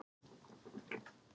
Og hvað getur maður gert þá?